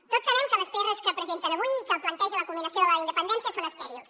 tots sabem que les prs que presenten avui i que plantegen la comminació de la independència són estèrils